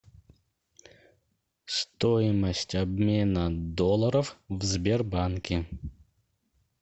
стоимость обмена долларов в сбербанке